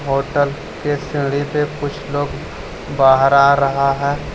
Hotel के सीढ़ी पे कुछ लोग बाहर आ रहा है।